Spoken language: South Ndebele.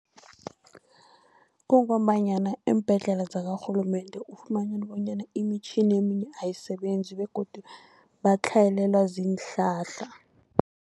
Kungombanyana iimbhedlela zakarhulumende ufumana bonyana imitjhini eminye ayisebenzi begodu batlhayelelwa ziinhlahla.